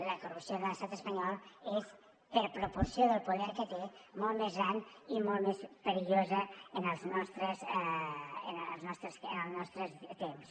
la corrupció de l’estat espanyol és per proporció del poder que té molt més gran i molt més perillosa en els nostres temps